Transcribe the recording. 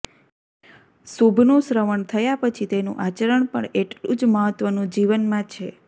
શુભનું શ્રવણ થયા પછી તેનું આચરણ પણ એટલું જ મહત્ત્વનું જીવનમાં છે